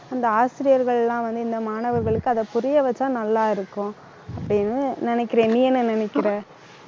அந்த ஆசிரியர்கள் எல்லாம் வந்து, இந்த மாணவர்களுக்கு அதை புரிய வச்சா நல்லா இருக்கும் அப்படின்னு நினைக்கிறேன் நீ என்ன நினைக்கிற